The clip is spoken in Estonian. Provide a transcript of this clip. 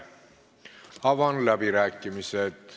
Avan läbirääkimised.